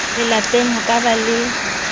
lelapeng ho ka ba le